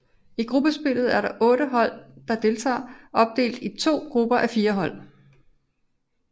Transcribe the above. I gruppespillet er de otte deltagende hold opdelt i to grupper á fire hold